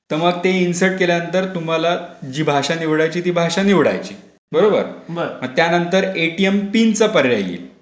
तर मग ते इन्सर्ट केल्यानंतर तुम्हाला जी भाषा निवडायची ती भाषा निवडायची. बरोबर! त्यानंतर एटीएम पिनचा पर्याय येईल.